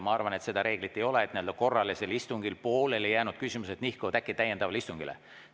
Ma arvan, et seda reeglit ei ole, et kõik korralisel istungil pooleli jäänud küsimused peaksid nihkuma täiendava istungi päevakorda.